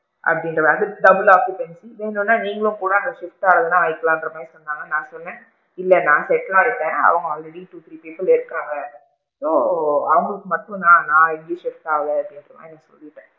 அப்படிங்கற மாதிரி double occupancy வேணும்னா நீங்களும் கூட அங்க shift ஆகுமும்னா ஆகிக்கலாம்ற மாதிரி சொன்னாங்க ஆனா நான் சொன்னேன், இல்ல நான் settle ஆகிட்டேன் அவுங்க already two three people இருக்காங்க so அவுங்களுக்கு மட்டும் தான் நான் எங்கயும் shift ஆகல அப்படிங்கற மாதிரி சொல்லிட்டேன்,